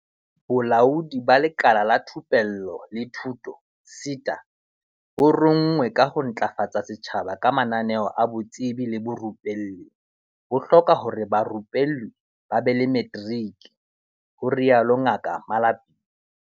Bolaodi ba Lekala la Thupello le Thuto, SETA, bo rongweng ka ho ntlafatsa setjhaba ka mananeo a botsebi le borupelli, bo hloka hore barupellwi ba be le materiki, ho rialo Ngaka Malapile.